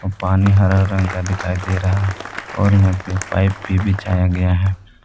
पानी हरा रंग का दिखाई दे रहा है और यहां पे पाइप भी बिछाया गया है।